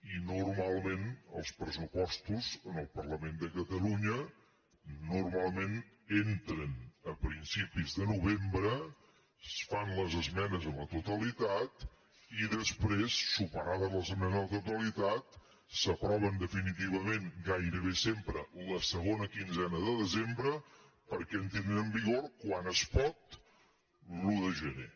i normalment els pressupostos en el parlament de catalunya normalment entren a principis de novembre es fan les esmenes a la totalitat i després superades les esmenes a la totalitat s’aproven definitivament gairebé sempre la segona quinzena de desembre perquè entrin en vigor quan es pot l’un de gener